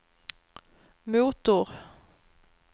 motor